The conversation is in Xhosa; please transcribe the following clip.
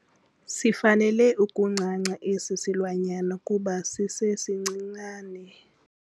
Sifanele ukuncanca esi silwanyana kuba sisesincinane.